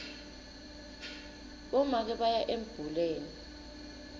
bomake baya embuleni